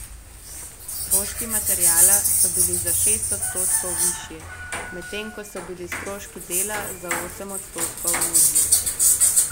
Stroški materiala so bili za šest odstotkov višji, medtem ko so bili stroški dela za osem odstotkov nižji.